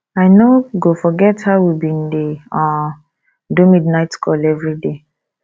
i no go forget how we bin dey um do midnight call everyday